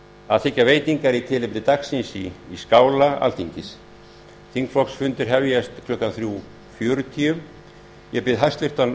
að þiggja veitingar í tilefni dagsins í skála alþingis þingflokksfundir hefjast klukkan þrjú fjörutíu ég bið hæstvirtan